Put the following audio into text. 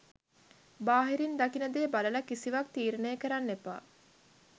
බාහිරින් දකින දේ බලලා කිසිවක් තීරණය කරන්න එපා.